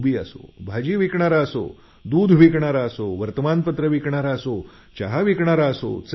धोबी असो भाजी विकणारा असो दूध विकणारा असो किंवा वर्तमान पत्र किंवा चहा विकणारा असो